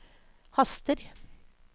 haster